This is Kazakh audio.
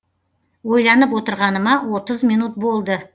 ойланып отырғаныма отыз минут болды